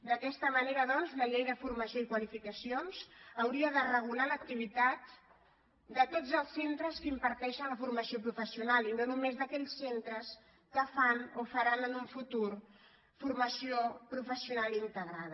d’aquesta manera doncs la llei de formació i qualificacions hauria de regular l’activitat de tots els centres que imparteixen la formació professional i no només d’aquells centres que fan o faran en un futur formació professional integrada